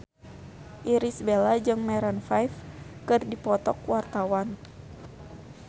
Irish Bella jeung Maroon 5 keur dipoto ku wartawan